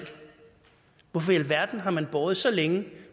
hvorfor i alverden har man båret så længe